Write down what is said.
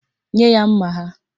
Nye ya mma ha!